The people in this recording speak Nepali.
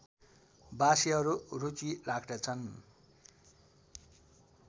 बासीहरू रुचि राख्दछन्